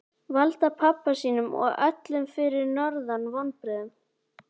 Valda pabba sínum og öllum fyrir norðan vonbrigðum.